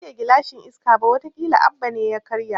Ban karya gilashin Iska ba, wata kila Abba ne ya karya